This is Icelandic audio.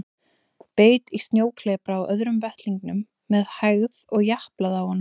Beit í snjóklepra á öðrum vettlingnum með hægð og japlaði á honum.